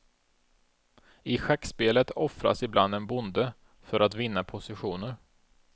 I schackspelet offras ibland en bonde för att vinna positioner.